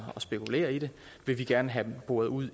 spekulere i det vil vi gerne have boret ud